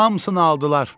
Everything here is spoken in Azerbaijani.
Hamısını aldılar.